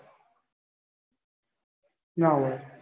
ના હોય.